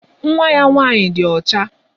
Nwa ya nwaanyị di ọcha.